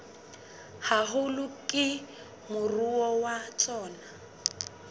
haholo ke moruo wa tsona